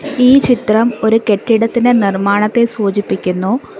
ഈ ചിത്രം ഒരു കെട്ടിടത്തിൻ്റെ നിർമ്മാണത്തെ സൂചിപ്പിക്കുന്നു.